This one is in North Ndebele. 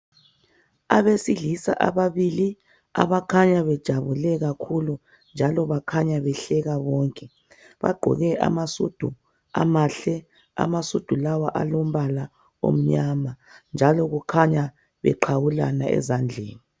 Abesilisa ababili abakhanya bejabule kakhulu njalo bakhanya behleka bonke. Bagqoke amasudu amahle. Amasudu lawa akhanya alombala omnyama njalo kukhanya beqhawulana ezandleni.